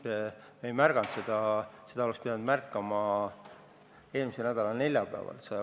Me ei märganud seda õigel ajal, oleks pidanud märkama eelmise nädala neljapäeval.